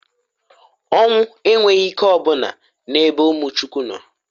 Onwu enwghi ike o buna n'ebe umu Chukwu no.